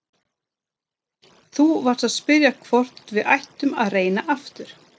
Þú varst að spyrja hvort við ættum að reyna aftur.